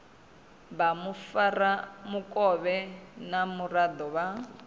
vha mufaramukovhe na muraḓo wa